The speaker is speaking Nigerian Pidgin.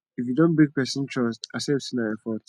if you don break person trust accept sey na your fault